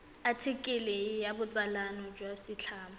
athikele ya botsalano jwa setlamo